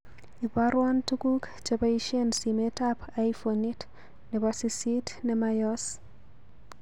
Ibarwon tuguk cheboishen simetab iphonit nebo sisit nemayoos